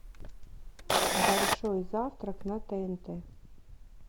большой завтрак на тнт